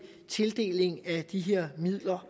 tildelingen af de her midler